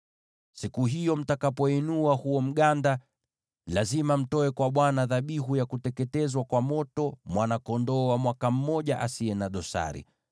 Siku hiyo mtakapoinua huo mganda, lazima mtoe kwa Bwana dhabihu ya kuteketezwa kwa moto ya mwana-kondoo wa mwaka mmoja asiye na dosari,